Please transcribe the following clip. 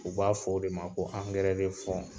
U b'a fɔ o de ma ko de .